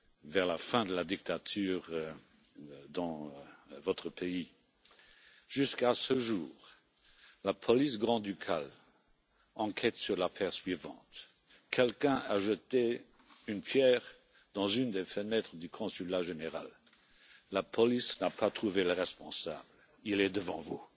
Vers la fin de la dictature dans votre pays, jusqu'à ce jour, la police grand ducale enquête sur l'affaire suivante quelqu'un a jeté une pierre sur l'une des fenêtres du consulat général, la police n'a pas trouvé le responsable il est devant vous.